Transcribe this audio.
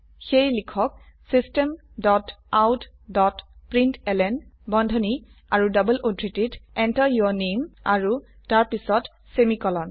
সেয়ে লিখক system dot out dot println বন্ধনী আৰু ডবল উদ্ধৃতিত Enter যৌৰ নামে আৰু তাৰ পিছত সেমিকোলন